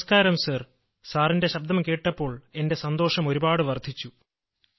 നമസ്ക്കാരം സർ സാറിന്റെ ശബ്ദം കേട്ടപ്പോൾ എന്റെ സന്തോഷം ഒരുപാട് വർദ്ധിച്ചു